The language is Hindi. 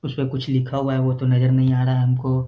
उसमें कुछ लिखा हुआ है वो तो नजर नहीं आ रहा है हमको।